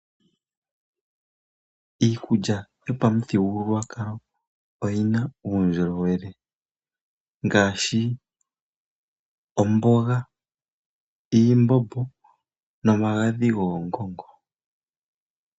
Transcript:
Iikulya yopamuthigululwakalo oyi na uundjolowele ngaashi, omboga, iimbombo nomagadhi goongongo.